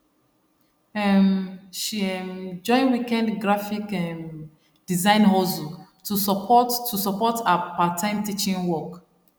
um she um join weekend graphic um design hustle to support to support her parttime teaching work